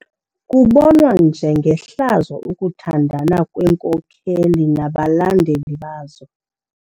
Kubonwa njengehlazo ukuthandana kweenkokeli nabalandeli bazo.